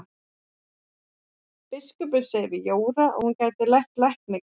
Biskupinn segir við Jóru að hún geti lært lækningar.